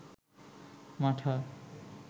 মাঠা